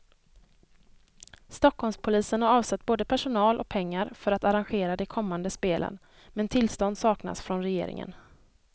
Stockholmspolisen har avsatt både personal och pengar för att arrangera de kommande spelen, men tillstånd saknas från regeringen.